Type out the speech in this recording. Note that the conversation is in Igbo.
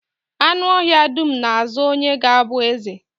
Anụ ọhịa dum na-azo onye ga-abụ eze